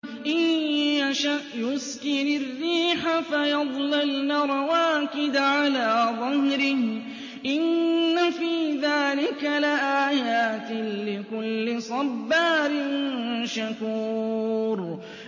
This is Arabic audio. إِن يَشَأْ يُسْكِنِ الرِّيحَ فَيَظْلَلْنَ رَوَاكِدَ عَلَىٰ ظَهْرِهِ ۚ إِنَّ فِي ذَٰلِكَ لَآيَاتٍ لِّكُلِّ صَبَّارٍ شَكُورٍ